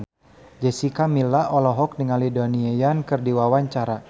Jessica Milla olohok ningali Donnie Yan keur diwawancara